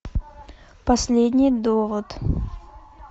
последний довод